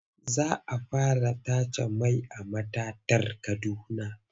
Za a fara tace mai a matatar Kaduna.